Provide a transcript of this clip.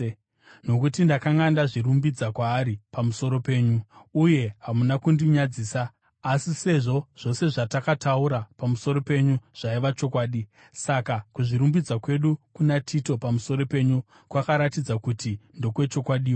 Nokuti ndakanga ndazvirumbidza kwaari pamusoro penyu, uye hamuna kundinyadzisa. Asi sezvo zvose zvatakataura pamusoro penyu zvaiva chokwadi, saka kuzvirumbidza kwedu kuna Tito pamusoro penyu kwakaratidza kuti ndokwechokwadiwo.